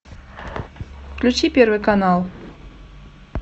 включи первый канал